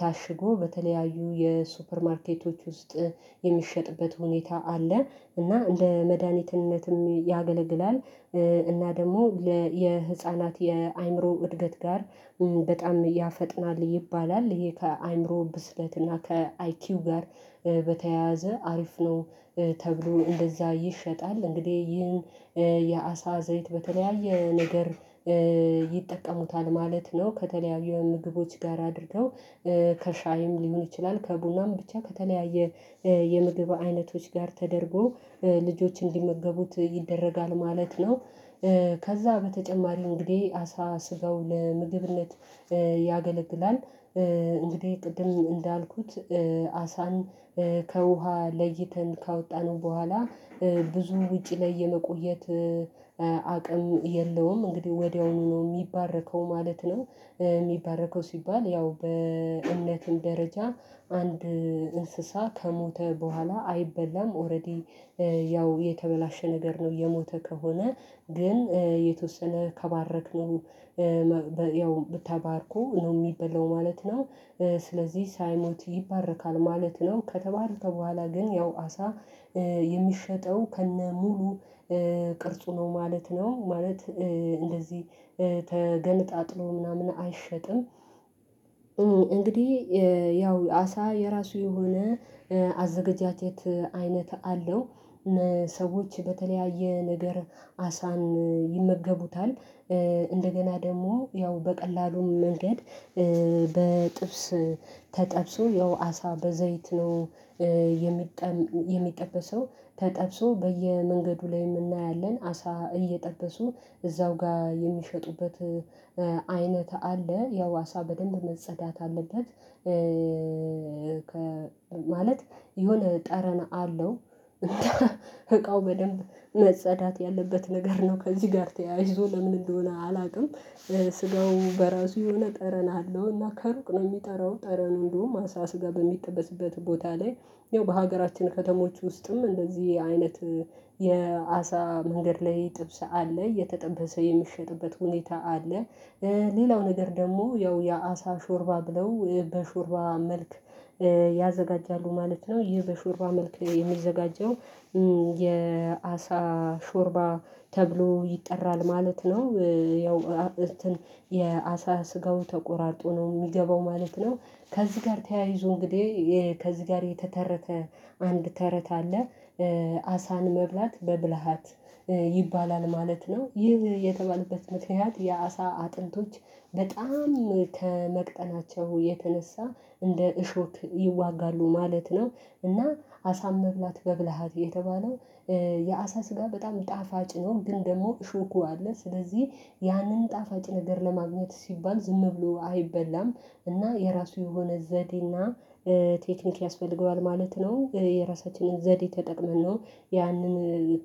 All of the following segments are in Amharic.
ታሽጎ በተለያዩ የሱፐር ማርኬቶች ውስጥ የሚሸጥበት ሁኔታ አለ እና እንደ መድሃኒትነትም ያገለግላል እና ደግሞ የህፃናት የአእምሮ እድገት ጋር በጣም ያፈጥናል ይባላል ይሄ ከአእምሮ ብስለት እና ከአይኪው ጋር በተያያዘ አሪፍ ነው ተግሎ እንደዛ ይሸጣል እንግዲህ ይህን የአሳ ዘይት በተለያየ ነገር ይጠቀሙታል ማለት ነው ከተለያዩ ምግቦች ጋር አድርገው ከሻይም ሊሆን ይችላል ከቡናም ብቻ ከተለያየ የምግብ አይነቶች ጋር ተደርጎ ልጆች እንዲመገቡት ይደረጋል ማለት ነው ከዛ በተጨማሪ እንግዲህ አሳ ስጋው ለምግብነት ያገለግላል እንግዲህ ቅድም እንዳልኩት አሳን ከውሃ ለይተን ካወጣነው በኋላ ብዙ ውጪ ላይ የመቆየት አቅሙ የለውም ማለት ነው። ወዲያውኑ ነው የሚባረከው ማለት ነው የሚባረከው ሲባል ያው በእምነትም ደረጃ አንድ እንስሳ ከሞተ በኋላ አይበላም ኦሬዲ ያው የተበላሸ ነገር ነው የሞተ ከሆነ ግን የተወሰነ ከባረክ ነው ያው ተባርኮ ነው የሚበላው ማለት ነው ስለዚህ ሳይሞት ይባረካል ማለት ነው ከተባረከ በኋላ ግን ያው አሳ የሚሸጠው ከነሙሉ ቅርጹ ነው ማለት ነው ማለት እንደዚህ ተገነጣጥሎ ምናምን አይሸጥም እንግዲህ ያው አሳ የራሱ የሆነ አዘገጃጀት አይነት አለው ሰዎች በተለያየ ነገር አሳን ይመገቡታል እንደገና ደግሞ ያው በቀላሉም መንገድ በጥብስ ተጠብሶ ያው አሳ በዘይት ነው የሚጠበሰው ተጠብሶ በየመንገዱ ላይ እናያለን አሳ እየጠበሱ እዛው ጋር የሚሸጡበት አይነት አለ ያው አሳ በደንብ መጸዳት አለበት ከ ማለት የሆነ ጠረን አለው እቃው በደንብ መጸዳት ያለበት ነገር ነው ከዚህ ጋር ተያይዞ ለምን እንደሆነ አላውቅም ስጋው በራሱ የሆነ ጠረን አለውና ከሩቅ ነው የሚጠራው ጠረኑ እንደውም አሳ ስጋ በሚጠበስበት ቦታ ላይ ይኸው በሀገራችን ከተሞች ውስጥም እንደዚህ አይነት የአሳ መንገድ ላይ ጥብስ አለ እየተጠበሰ የሚሸጥበት ሁኔታ አለ ሌላው ነገር ደግሞ ያው የአሳ ሾርባ ብለው በሾርባ መልክ ያዘጋጃሉ ማለት ነው ይህ በሾርባ መልክ የሚዘጋጀው የአሳ ሾርባ ተብሎ ይጠራል ማለት ነው ያው እንትን የአሳ ስጋው ተቆራርጦ ነው የሚገባው ማለት ነው ከዚህ ጋር ተያይዞ እንግዲህ ከዚህ ጋር የተተረተ አንድ ተረት አለ አሳን መብላት በብልሃት ይባላል ማለት ነው ይህ የተባለበት ምክንያት የአሳ አጥንቶች በጣም ከመቅጠናቸው የተነሳ እንደ እሾክ ይዋጋሉ ማለት ነው እና አሳም መብላት በብልሃት የተባለው የአሳ ስጋ በጣም ጣፋጭ ነው ግን ደግሞ እሾኩ አለ ስለዚህ ያንን ጣፋጭ ነገር ለማግኘት ሲባል ዝም ብሎ አይበላም እና የራሱ የሆነ ዘዴና ቴክኒክ ያስፈልገዋል ማለት ነው የራሳችንን ዘዴ ተጠቅመን ነው ያንን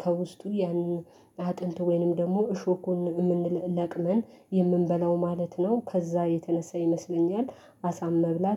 ከውስጡ ያንን አጥንት ወይንም ደግሞ እሾኩን ምንለቅመን የምንበላው ማለት ነው ከዛ የተነሳ ይመስለኛል አሳም መብላት